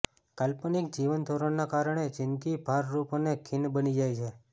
કાલ્પનિક જીવનધોરણના કારણે જિંદગી ભારરૃપ અને ખિન્ન બની જાય છે